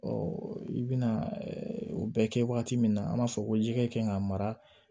i bɛna o bɛ kɛ wagati min na an b'a fɔ ko jɛgɛ kan ka mara